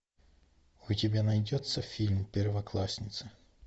у тебя найдется фильм первоклассница